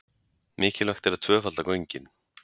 Mikilvægt að tvöfalda göngin